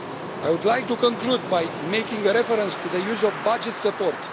I would like to conclude by making reference to the use of budget support.